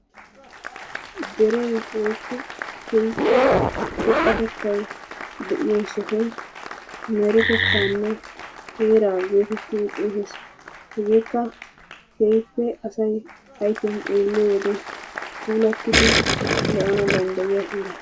Deree woyikko keehippe xoqatetay de"iyo sohoy meretetaanne heeraa geetettidi xeesettes. Hegeekka keehippe asay ayifiyan xeelliyoode puulattidi lo"ana dandayiyaa heera.